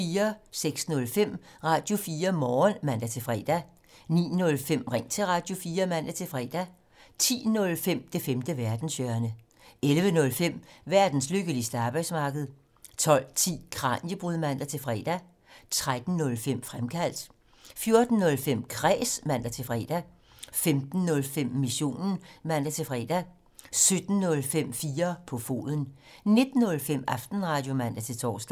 06:05: Radio4 Morgen (man-fre) 09:05: Ring til Radio4 (man-fre) 10:05: Det femte verdenshjørne 11:05: Verdens lykkeligste arbejdsmarked 12:10: Kraniebrud (man-fre) 13:05: Fremkaldt 14:05: Kræs (man-fre) 15:05: Missionen (man-fre) 17:05: 4 på foden 19:05: Aftenradio (man-tor)